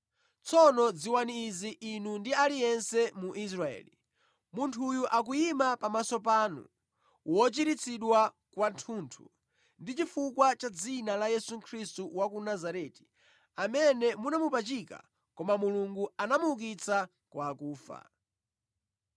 tsono dziwani izi inu ndi aliyense mu Israeli: munthuyu akuyima pamaso panu, wochiritsidwa kwathunthu, ndi chifukwa cha dzina la Yesu Khristu wa ku Nazareti amene munamupachika koma Mulungu anamuukitsa kwa akufa.